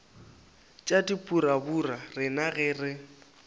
tša dipurabura rena ge re